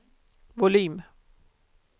volym